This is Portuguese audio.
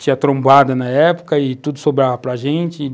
Tinha trombada na época e tudo sobrava para a gente e,